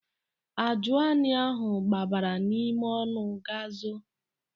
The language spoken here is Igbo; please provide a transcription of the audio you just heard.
Ajụani ahụ gbabara n'ime ọnụ ga zoo.